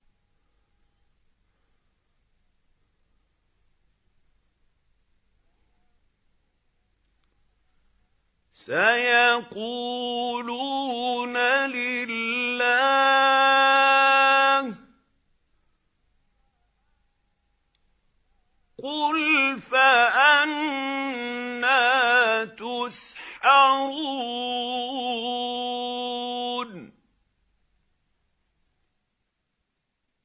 سَيَقُولُونَ لِلَّهِ ۚ قُلْ فَأَنَّىٰ تُسْحَرُونَ